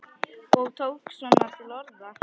Ég tók svona til orða.